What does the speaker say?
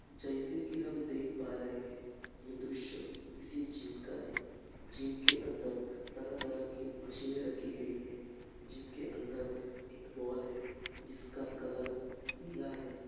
जैसे की हम देख पा रहे हैं यह दृश्य किसी जिम का है| जिम के अंदर तरह-तरह की मशीने रखी गई है| जिम के अंदर एक बॉल है जिसका कलर नीला है।